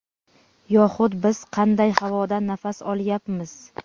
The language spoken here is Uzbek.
Yoxud biz qanday havodan nafas olyapmiz?.